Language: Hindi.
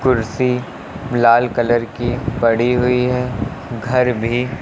कुर्सी लाल कलर की पड़ी हुई है घर भी --